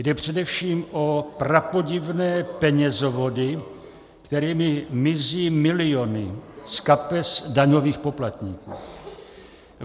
Jde především o prapodivné penězovody, kterými mizí miliony z kapes daňových poplatníků.